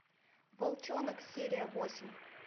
волчонок серия восемь